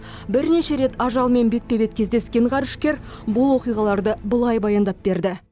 бірнеше рет ажалмен бетпе бет кездескен ғарышкер бұл оқиғаларды былай баяндап берді